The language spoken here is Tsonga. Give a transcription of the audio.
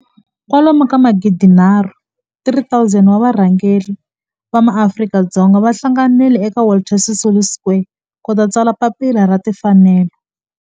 kwalomu ka magidi nharhu 3 000 wa varhangeri va maAfrika-Dzonga va hlanganile eka Walter Sisulu Square ku ta tsala Papila ra Tinfanelo.